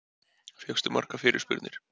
Fékkstu margar fyrirspurnir?